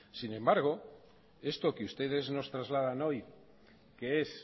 sin embargo esto que ustedes nos trasladan hoy que es